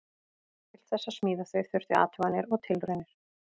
Til þess að smíða þau þurfti athuganir og tilraunir.